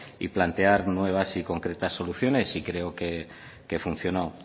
y plantear nuevas y concretas soluciones y creo que funcionó